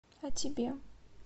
а тебе